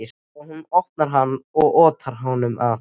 Þegar hún opnar hann og otar honum að